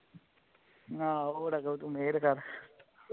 ਆਹੋ ਤੂੰ ਮਿਹਰ ਕਰ